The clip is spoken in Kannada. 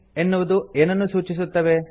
ಎನ್ನುವುದು ಏನನ್ನು ಸೂಚಿಸುತ್ತವೆ